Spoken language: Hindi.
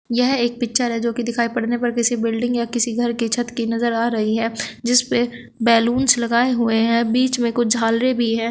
यह एक पिक्चर है जो की दिखाई पड़ने पर किसी बिल्डिंग या किसी घर की छत की नजर आ रही है जिसपे बैलूंस लगाएं हुए हैं बीच में कुछ झालरे भी है।